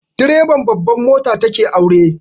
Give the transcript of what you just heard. Direban babban mota ta ke aure